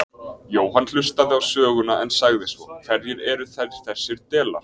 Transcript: Jóhann hlustaði á söguna en sagði svo: Hverjir eru þeir þessir delar?